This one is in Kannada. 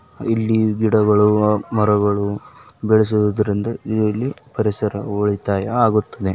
ಇಲ್ಲಿ ಗಿಡಗಳು ಮರಗಳು ಬೆಳೆಸೋದರಿಂದ ಇಲ್ಲಿ ಪರಿಸರ ಉಳಿತಾಯ ಆಗುತ್ತದೆ.